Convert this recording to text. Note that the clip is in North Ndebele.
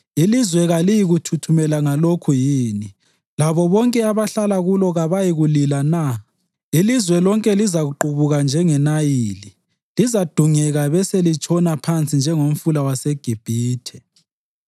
Ilizwe kaliyikuthuthumela ngalokhu yini labo bonke abahlala kulo kabayikulila na? Ilizwe lonke lizaqubuka njengeNayili; lizadungeka beselitshona phansi njengomfula waseGibhithe.